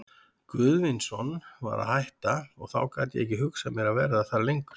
Guðvinsson var að hætta, og þá gat ég ekki hugsað mér að vera þar lengur.